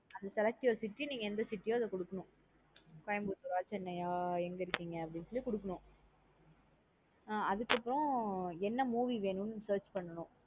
அது select your city நீங்க எந்த city யோ அதா குடுக்கணும் Coimbatore ஆ chennai யா எங்க இருக்கீங்க அப்டின்னு சொல்லி கொடுக்கனும் ஆஹ் அதுக்கப்றம் என்ன movie வேணுன்னு search பண்ணனும்.